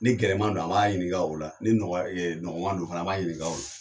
Ni gɛlɛman don, an b'a ɲininga o la ,ni nɔgɔya nɔgɔman don fana an b'a ɲininga o